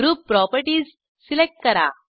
group properties select करा